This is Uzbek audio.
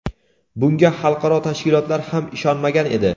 Bunga xalqaro tashkilotlar ham ishonmagan edi.